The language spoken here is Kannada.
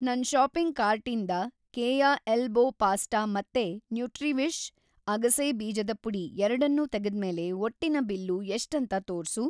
ನನ್‌ ಷಾಪಿಂಗ್‌ ಕಾರ್ಟಿಂದ ಕೇಯ ಎಲ್ಬೋ ಪಾಸ್ಟಾ ಮತ್ತೆ ನ್ಯೂಟ್ರಿವಿಷ್ ಅಗಸೆ ಬೀಜದ ಪುಡಿ ‌ ಎರಡ್ನೂ ತೆಗೆದ್ಮೇಲೆ ಒಟ್ಟಿನ ಬಿಲ್ಲು‌ ಎಷ್ಟಂತ ತೋರ್ಸು.